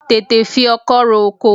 Tètè fi ọkọ́ ro oko!